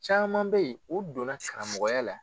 Caman bɛ yen o donna karamɔgɔya la